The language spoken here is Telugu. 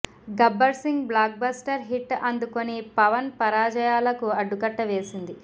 Gabbar Singh blockbuster hit అందుకొని పవన్ పరాజయాలకు అడ్డుకట్టవేసింది